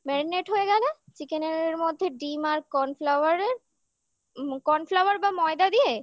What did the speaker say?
হয়ে গেলে chicken র মধ্যে ডিম আর corn flour রের corn flour বা ময়দা দিয়ে